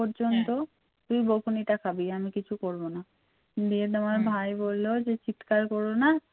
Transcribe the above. তুই বকুনিটা খাবি আমি কিছু করবোনা দিয়ে তোমার ভাই হম বলল চিৎকার করো না